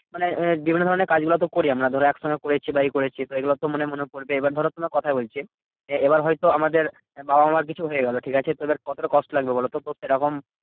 মানে বিভিন্ন ধরণের কাজগুলো তো করি আমরা ধরো একসঙ্গে পড়েছি বা এই করেছি। এইগুলো তো মানে মনে পরবে। এবার ধরো তোমায় কথায় বলছি, এবার হয়তো আমাদের বাবা মার কিছু হয়ে গেলো ঠিকাছে? তো এইবার কতটা কষ্ট লাগবে বলতো? তো সেরকম